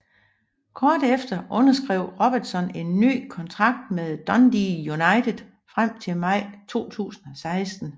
Kort efter underskrev Robertson en ny kontrakt med Dundee United frem til maj 2016